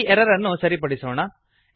ಈ ಎರರ್ ಅನ್ನು ಸರಿಪಡಿಸೋಣ